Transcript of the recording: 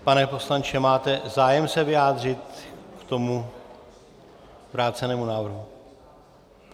Pane poslanče, máte zájem se vyjádřit k tomu vrácenému návrhu?